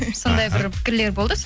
сондай бір пікірлер болды